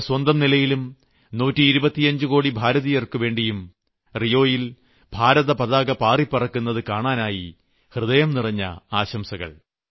എന്റെ സ്വന്തം നിലയിലും 125 കോടി ഭാരതീയർക്കുവേണ്ടിയും റിയോയിൽ ഭാരത പതാക പാറിപ്പറക്കുന്നതു കാണാനായി ഹൃദയം നിറഞ്ഞ ആശംസകൾ